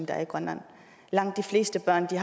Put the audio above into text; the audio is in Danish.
er i grønland langt de fleste børn i